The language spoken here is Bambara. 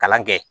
Kalan kɛ